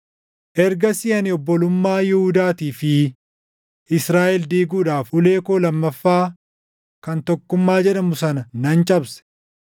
Ergasii ani obbolummaa Yihuudaatii fi Israaʼel diiguudhaaf ulee koo lammaffaa kan Tokkummaa jedhamu sana nan cabse.